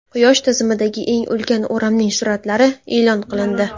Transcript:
Quyosh tizimidagi eng ulkan o‘ramning suratlari e’lon qilindi.